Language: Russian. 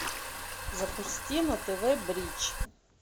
запусти на тв бридж